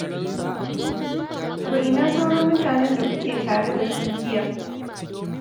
To ina sauran mutanen da kuke tare da su jiya?